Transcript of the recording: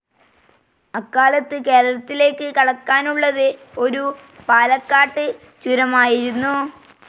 അക്കാലത്ത് കേരളത്തിലേക്ക് കടക്കാനുള്ളത് ഒരു പാലക്കാട്ട് ചുരമായിരുന്നു.